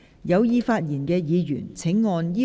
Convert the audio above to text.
有意發言的議員請按"要求發言"按鈕。